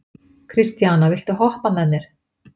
Kristíana, viltu hoppa með mér?